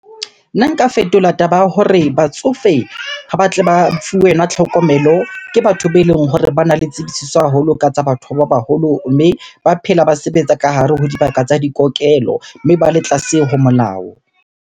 Nna nka fetola taba ya hore batsofe ha ba tle ba fuwe tlhokomelo ke batho beleng hore bana le tsebisiso haholo ka tsa batho ba baholo. Mme ba phela ba sebetsa ka hare ho dibaka tsa ditokelo, mme ba le tlase ho molao.